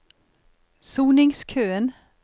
soningskøen